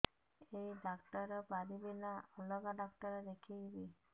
ଏଇ ଡ଼ାକ୍ତର ପାରିବେ ନା ଅଲଗା ଡ଼ାକ୍ତର ଦେଖେଇବି